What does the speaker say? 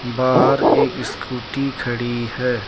बाहर एक स्कूटी खड़ी है।